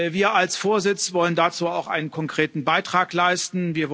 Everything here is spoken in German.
Wir als Vorsitz wollen dazu auch einen konkreten Beitrag leisten.